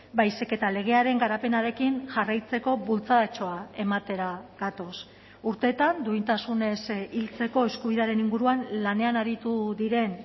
baizik eta legearen garapenarekin jarraitzeko bultzadatxoa ematera gatoz urteetan duintasunez hiltzeko eskubidearen inguruan lanean aritu diren